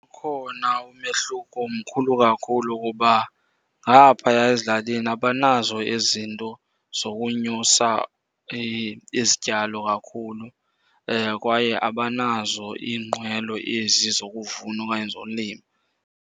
Ukhona umehluko mkhulu kakhulu kuba ngaphaya ezilalini abanazo ezi zinto zokunyusa izityalo kakhulu kwaye abanazo iinqwelo ezi zokuvuna okanye zolima.